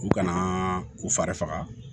U kana u fari faga